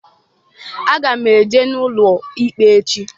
Aga m eje n'ụlọ ikpe echi.